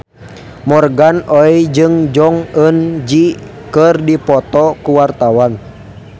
Morgan Oey jeung Jong Eun Ji keur dipoto ku wartawan